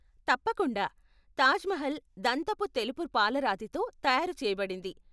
తప్పకుండా. తాజ్ మహల్ దంతపు తెలుపు పాలరాతితో తయారు చేయబడింది.